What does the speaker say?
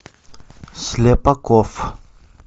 слепаков